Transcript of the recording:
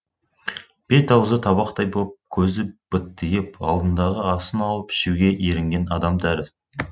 бет аузы табақтай боп көзі быттиып алдындағы асын алып ішуге ерінген адам тәрізді